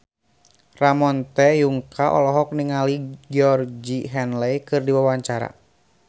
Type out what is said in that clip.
Ramon T. Yungka olohok ningali Georgie Henley keur diwawancara